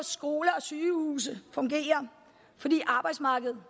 skoler og sygehuse fungerer og fordi arbejdsmarkedet